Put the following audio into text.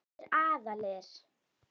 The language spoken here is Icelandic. Báðir aðilar.